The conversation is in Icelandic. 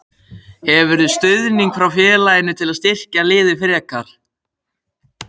Hefurðu stuðning frá félaginu til að styrkja liðið frekar?